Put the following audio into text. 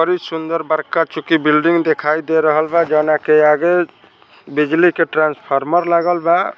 बडी सुंदर बड़का चुकी बिल्डिंग दिखाई दे रहलबा जोनाके आगे बिजली के ट्रांसफार्मर लगल बा।